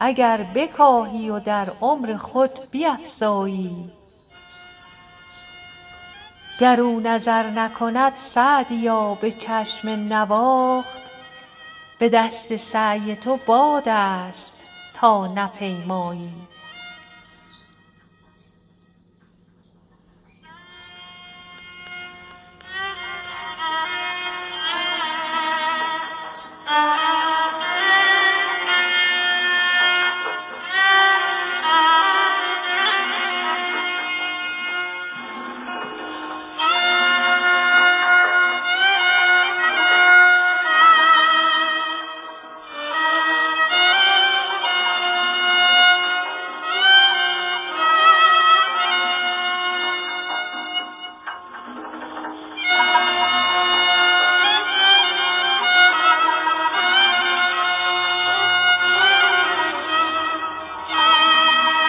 اگر بکاهی و در عمر خود بیفزایی گر او نظر نکند سعدیا به چشم نواخت به دست سعی تو باد است تا نپیمایی